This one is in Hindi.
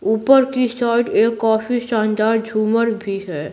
ऊपर की साइड एक काफी शानदार झूमर भी है।